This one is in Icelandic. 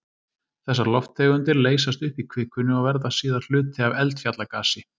Þessar lofttegundir leysast upp í kvikunni og verða síðar hluti af eldfjallagasi.